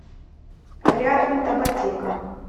рядом табатека